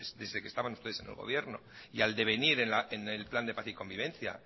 desde que estaban ustedes en el gobierno y al devenir en el plan de paz y convivencia